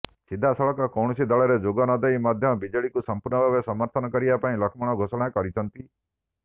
ସିଧାସଳଖ କୌଣସି ଦଳରେ ଯୋଗ ନଦେଇ ମଧ୍ୟ ବିଜେଡିକୁ ସମ୍ପୂର୍ଣ୍ଣ ଭାବରେ ସମର୍ଥନ କରିବା ପାଇଁ ଲକ୍ଷ୍ମଣ ଘୋଷଣାଛନ୍ତି